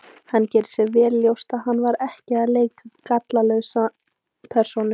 Hann gerði sér vel ljóst að hann var ekki að leika gallalausa persónu.